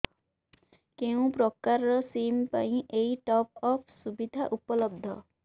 କେଉଁ ପ୍ରକାର ସିମ୍ ପାଇଁ ଏଇ ଟପ୍ଅପ୍ ସୁବିଧା ଉପଲବ୍ଧ